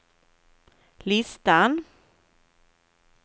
listan